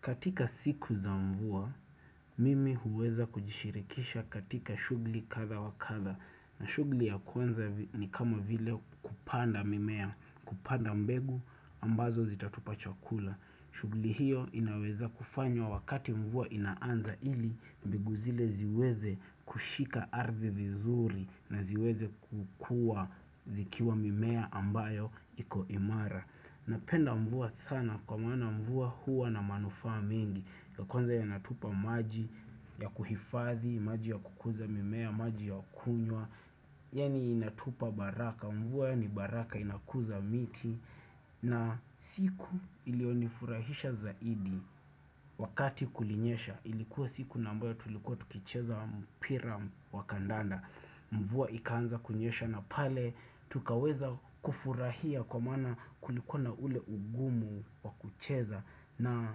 Katika siku za mvua, mimi huweza kujishirikisha katika shughuli kadhaa wa kadhaa. Na shughuli ya kwanza ni kama vile kupanda mimea, kupanda mbegu ambazo zitatupa chakula. Shughuli hiyo inaweza kufanywa wakati mvua inaanza ili mbegu zile ziweze kushika ardhi vizuri na ziweze kukua zikiwa mimea ambayo iko imara. Napenda mvua sana kwa maana mvua huwa na manufaa mengi. Kwanza inatupa maji ya kuhifadhi, maji ya kukuza mimea, maji ya kunywa Yaani inatupa baraka, mvua ni baraka inakuza miti na siku iliyonifurahisha zaidi wakati kulinyesha ilikuwa siku ambayo tulikuwa tukicheza mpira wa kandanda Mvua ikaanza kunyesha na pale tukaweza kufurahia kwa maana kulikuwa na ule ugumu wa kucheza na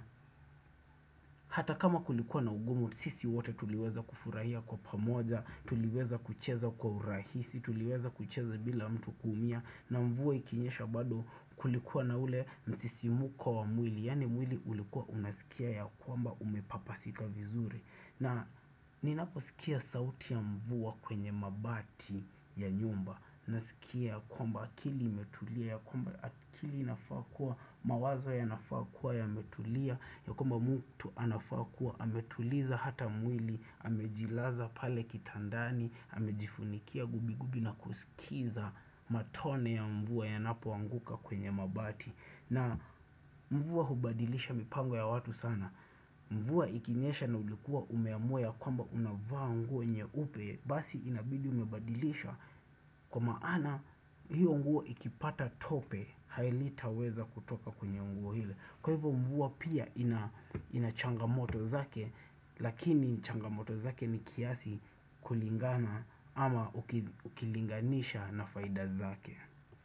hata kama kulikuwa na ugumu, sisi wote tuliweza kufurahia kwa pamoja. Tuliweza kucheza kwa urahisi, tuliweza kucheza bila mtu kuumia. Na mvua ikinyesha bado kulikuwa na ule msisimuko wa mwili. Yaani mwili ulikuwa unasikia ya kwamba umepapasika vizuri na ninaposikia sauti ya mvua kwenye mabati ya nyumba nasikia kwamba akili imetulia ya kwamba akili inafaa kuwa mawazo yanafaa kuwa yametulia ya kwamba mtu anafaa kuwa ametuliza hata mwili amejilaza pale kitandani amejifunikia gubi gubi na kusikiza matone ya mvua yanapoanguka kwenye mabati na mvua hubadilisha mipango ya watu sana Mvua ikinyesha na ulikuwa umeamua ya kwamba unavaa nguo nyeupe basi inabidi umebadilisha kwa maana hiyo nguo ikipata tope halitaweza kutoka kwenye nguo ile. Kwa hivyo mvua pia ina ina changamoto zake Lakini changamoto zake ni kiasi kulingana ama ukilinganisha na faida zake.